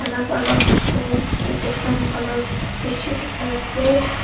alak alak books with different colours beshi dekhi ase.